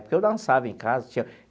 Porque eu dançava em casa tinha.